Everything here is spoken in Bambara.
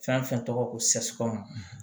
Fɛn fɛn tɔgɔ ko sɛsipu